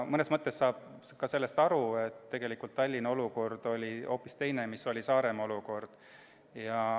Mõnes mõttes saan sellest aru, sest tegelikult oli Tallinna olukord hoopis teine kui Saaremaa olukord.